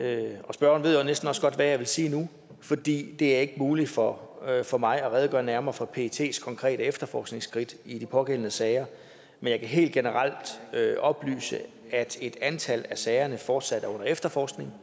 spørgeren ved næsten også godt hvad jeg vil sige nu fordi det ikke er muligt for for mig at redegøre nærmere for pets konkrete efterforskningsskridt i de pågældende sager men jeg kan helt generelt oplyse at et antal af sagerne fortsat er under efterforskning